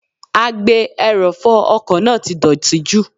Agbe - ẹrọ̀fọ ọkọ̀ náà ti dọ̀tí jù.